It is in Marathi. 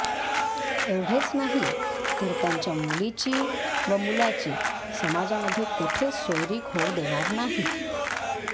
एवढेच नाही तर त्यांच्या मुलीची व मुलाची समाजामध्ये कोठेच सोयरीक होऊ देणार नाही